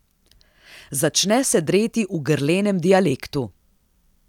Začne se dreti v grlenem dialektu.